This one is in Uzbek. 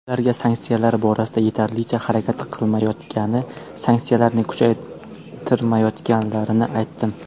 Ularga sanksiyalar borasida yetarlicha harakat qilmayotgani, sanksiyalarni kuchaytirmayotganlarini aytdim.